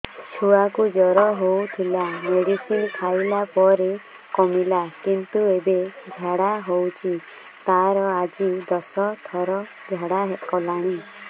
ଛୁଆ କୁ ଜର ହଉଥିଲା ମେଡିସିନ ଖାଇଲା ପରେ କମିଲା କିନ୍ତୁ ଏବେ ଝାଡା ହଉଚି ତାର ଆଜି ଦଶ ଥର ଝାଡା କଲାଣି